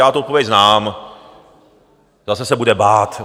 Já tu odpověď znám, zase se bude bát.